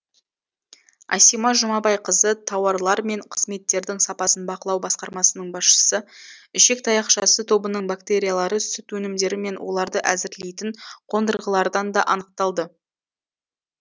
асима жұмабайқызы тауарлар мен қызметтердің сапасын бақылау басқармасының басшысы ішек таяқшасы тобының бактериялары сүт өнімдері мен оларды әзірлейтін қондырғылардан да анықталды